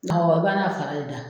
Ɔ o b'a na fara de da.